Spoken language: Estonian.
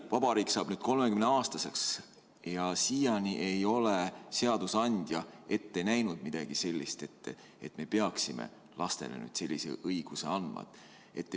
Vabariik saab peagi 30-aastaseks ja siiani ei ole seadusandja ette näinud, et me peaksime lastele sellise õiguse andma.